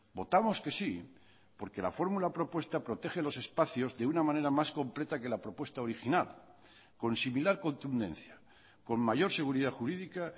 votamos que sí porque la fórmula propuesta protege los espacios de una manera más completa que la propuesta original con similar contundencia con mayor seguridad jurídica